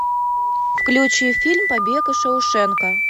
включи фильм побег из шоушенка